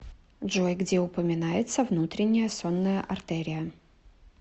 джой где упоминается внутренняя сонная артерия